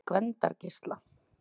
Gvendargeisla